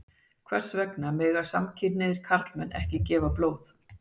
Hvers vegna mega samkynhneigðir karlmenn ekki gefa blóð?